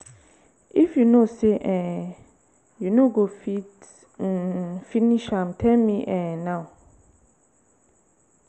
if you no say um you no go fit um finish am tell me um now.